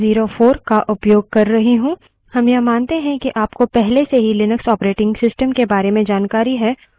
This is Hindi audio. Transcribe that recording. हम यह मानते हैं कि आपको पहले से ही लिनक्स operating system के बारे में जानकारी है और commands के बारे में कुछ बुनियादी जानकारी है